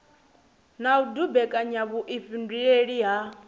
na u dumbekanya vhuifhinduleli ha